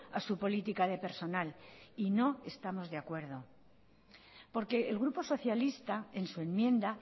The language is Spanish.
a su política de personal y no estamos de acuerdo porque el grupo socialista en su enmienda